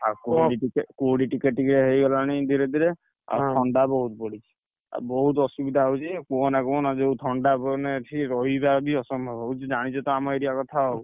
ଆଉ କୁହୁଡି ଟିକେ କୁହୁଡି ଟିକେ ଟିକେ ହେଇଗଲାଣି ଧୀରେ ଧୀରେ, ଆଉ ଥଣ୍ଡା ବହୁତ ପଡିଛି, ଆଉ ବହୁତ ଅସୁବିଧା ହଉଛି କୁହନା କୁହନା ଯୋଉ ଥଣ୍ଡା ମାନେ ଏଠି ରହିବା ଅସମ୍ଭବ ହଉଛି ଜାଣିଛ ତ ଆମ area କଥା ଆଉ।